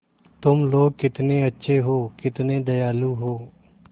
तुम लोग कितने अच्छे हो कितने दयालु हो